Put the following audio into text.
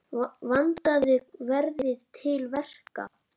Vandað verði til verka.